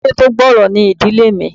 Ìdílé tó gbòòrò ni ìdílé mi